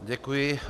Děkuji.